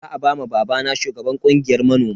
Za a ba ma babana shugaban kungiyar manoma.